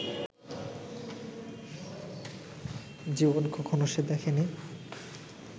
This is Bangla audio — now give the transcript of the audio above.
জীবনে কখনো সে দেখেনি